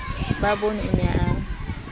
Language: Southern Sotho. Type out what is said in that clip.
ba bonwe o ne a